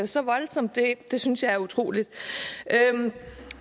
så voldsomt det det synes jeg er utroligt